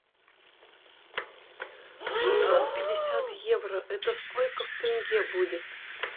шестьсот пятьдесят евро это сколько в тенге будет